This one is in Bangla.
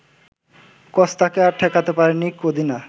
কস্তাকে আর ঠেকাতে পারেননি কদিনা